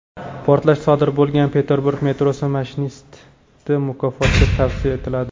Portlash sodir bo‘lgan Peterburg metrosi mashinisti mukofotga tavsiya etiladi.